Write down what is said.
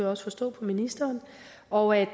også forstå på ministeren og at